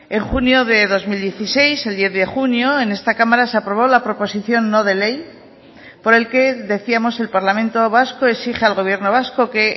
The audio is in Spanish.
en junio de dos mil dieciséis el diez de junio en esta cámara se aprobó la proposición no de ley por el que decíamos el parlamento vasco exige al gobierno vasco que